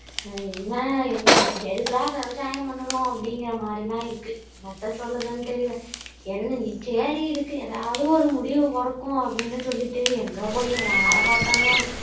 என்ன அ எதுக்குடா விவசாயம் பண்ணுறோம் அப்படிங்குற மாதிரி தான் இருக்கு, என்னத்த சொல்லுதன்னு தெரியல என்ன சரி இதுக்கு எதாவது ஒரு முடிவு பொறக்கும் அப்படின்னு சொல்லிட்டு எங்கபோய் யாரை பாத்தாலும்